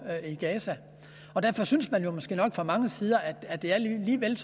i gaza og derfor synes man måske nok fra mange sider at det er lige vel